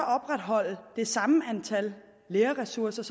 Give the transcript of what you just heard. opretholde det samme antal lærerressourcer